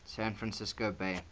san francisco bay